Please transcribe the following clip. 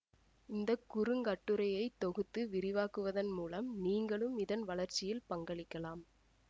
இந்த குறுங்கட்டுரையை தொகுத்து விரிவாக்குவதன் மூலம் நீங்களும் இதன் வளர்ச்சியில் பங்களிக்கலாம்